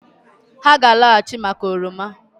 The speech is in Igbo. Ha ga-alọghachị maka oroma